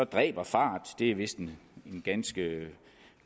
dræber fart det er vist en ganske